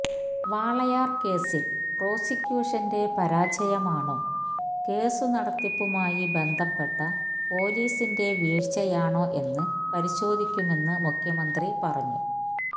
വാളയാര് കേസില് പ്രോസിക്യൂഷന്റെ പരാജയമാണോ കേസ് നടത്തിപ്പുമായി ബന്ധപ്പെട്ട പൊലിസിന്റെ വീഴ്ചയാണോ എന്ന് പരിശോധിക്കുമെന്ന് മുഖ്യമന്ത്രി പറഞ്ഞു